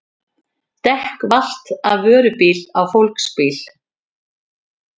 Dekk valt af vörubíl á fólksbíl